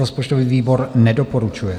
Rozpočtový výbor nedoporučuje.